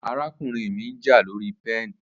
Arakunrin mi nja lori pen